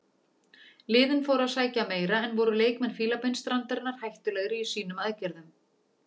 Liðin fóru að sækja meira en voru leikmenn Fílabeinsstrandarinnar hættulegri í sínum aðgerðum.